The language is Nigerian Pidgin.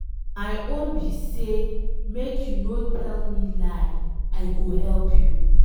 My own be say make you no tell me lie, I go help you.